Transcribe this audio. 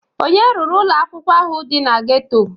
Onye ruru ụlọ akwụkwọ ahụ dị na geto?